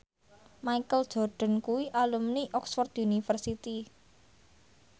Michael Jordan kuwi alumni Oxford university